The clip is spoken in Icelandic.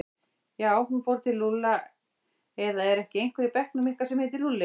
Já, hann fór til Lúlla eða er ekki einhver í bekknum ykkar sem heitir Lúlli?